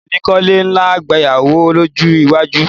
Mi ò ní kọ́lé ńlá gbayawu lọ́jọ́ iwájú